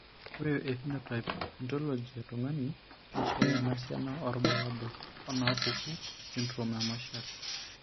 Ore ephenotype ontology etung'ani neishooyo enasiana oorbulabul onaapuku esindirom emarshall.